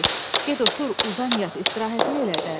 "Kişi, get otur, uzan yat, istirahətini elə də."